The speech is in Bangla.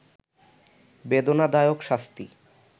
বেদনাদায়ক শাস্তি